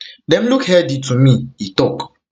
dem look healthy to healthy to me e tok